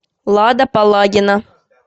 лада палагина